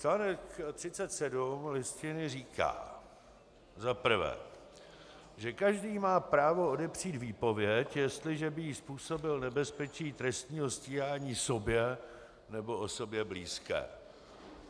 Článek 37 Listiny říká za prvé, že každý má právo odepřít výpověď, jestliže by jí způsobil nebezpečí trestního stíhání sobě nebo osobě blízké.